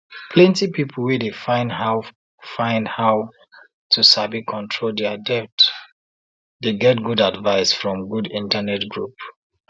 plenty people wey dey find how find how to sabi control dia debt dey get good advice from good internet group